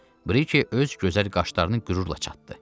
Briki öz gözəl qaşlarını qürurla çatdı.